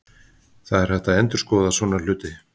Það er hægt að endurskoða svona hluti.